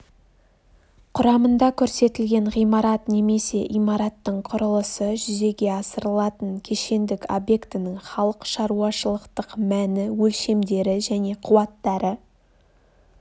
құрамында көрсетілген ғимарат немесе имараттың құрылысы жүзеге асырылатын кешендік объектінің халық шаруашылықтық мәні өлшемдері және қуаттары